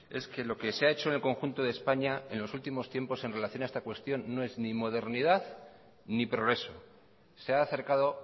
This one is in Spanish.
es que lo que se ha hecho en el conjunto de españa en los últimos tiempos en relación a esta cuestión no es ni modernidad ni progreso se ha acercado